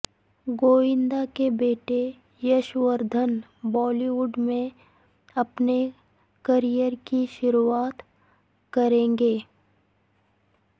گووندا کے بیٹے Yash Vardhan Bollywood میں اپنے کریئر کی شروعات کریں گے